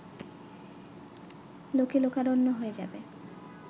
লোকে লোকারণ্য হয়ে যাবে